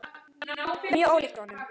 Mjög ólíkt honum.